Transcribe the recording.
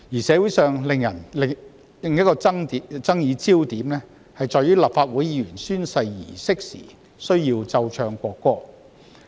社會人士的另一個爭議點是，立法會舉行議員宣誓儀式時需要奏唱國歌。